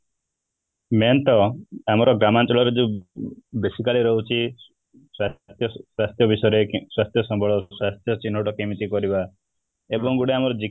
main ତ ଆମର ଗ୍ରାମାଞ୍ଚଳ ରେ ବି basically ରହୁଛି ସ୍ୱାସ୍ଥ୍ୟ ବିଷୟରେ ସ୍ୱାସ୍ଥ୍ୟ ସମ୍ବଳ ସ୍ୱାସ୍ଥ୍ୟ ଚିହ୍ନଟ କେମିତି କରିବା ଏବଂ ଆମର ଗୋଟେ